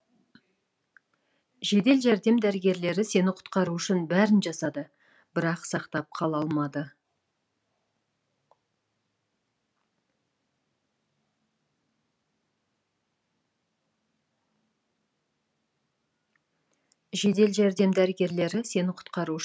жедел жәрдем дәрігерлері сені құтқату үшін бәрін жасады бірақ сақтап қала алмады